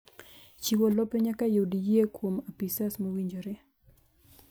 Chiwo lope nyaka yud yie kuom apisas mowinjore